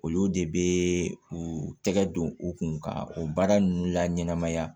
Olu de bɛ u tɛgɛ don u kun ka o baara ninnu la ɲɛnamaya